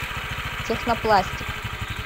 технопластик